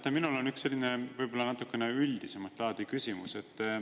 Teate, minul on üks selline võib-olla natukene üldisemat laadi küsimus.